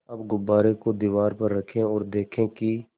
अब गुब्बारे को दीवार पर रखें ओर देखें कि